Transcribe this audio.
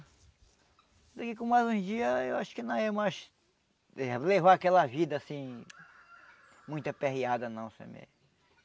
Só que com mais um dia, eu acho que não é mais... eh levar aquela vida, assim... muito aperreada não,